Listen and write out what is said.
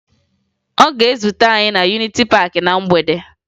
Ọ ga-ezute anyị na Yuniti Paakị na mgbede